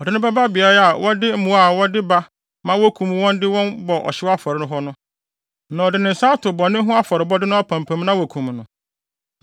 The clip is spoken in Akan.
Ɔde no bɛba beae a wɔde mmoa a wɔde wɔn ba ma wokum wɔn de wɔn bɔ ɔhyew afɔre hɔ no, na ɔde ne nsa ato bɔne ho afɔrebɔde no apampam na wɔakum no.